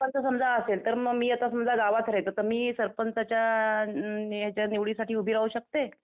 समजा असेल तर मी आता समजा गावात रहायचं तर मी आता सरपंचाच्या हेच्या निवडीसाठी उभी राहू शकते?